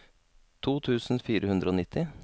to tusen fire hundre og nitti